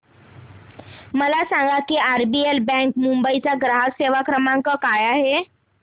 मला सांगा की आरबीएल बँक मुंबई चा ग्राहक सेवा क्रमांक काय आहे